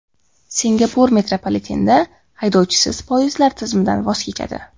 Singapur metropolitenda haydovchisiz poyezdlar tizimidan voz kechadi.